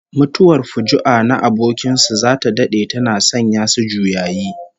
Mutuwar fuju'a na abokin su zata dade tana sanya su juyayi